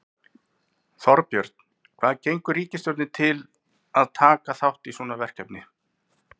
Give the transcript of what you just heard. Þorbjörn, hvað gengur ríkisstjórninni til að taka þátt í svona verkefni?